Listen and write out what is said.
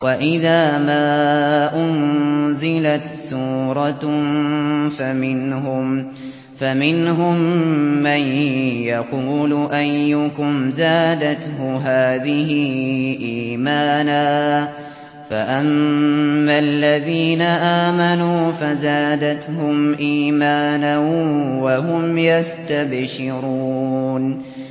وَإِذَا مَا أُنزِلَتْ سُورَةٌ فَمِنْهُم مَّن يَقُولُ أَيُّكُمْ زَادَتْهُ هَٰذِهِ إِيمَانًا ۚ فَأَمَّا الَّذِينَ آمَنُوا فَزَادَتْهُمْ إِيمَانًا وَهُمْ يَسْتَبْشِرُونَ